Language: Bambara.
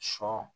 Sɔ